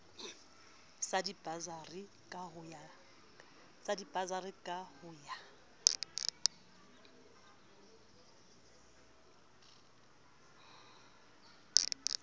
sa dibasari ka ho ya